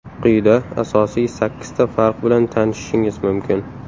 Quyida asosiy sakkizta farq bilan tanishishingiz mumkin.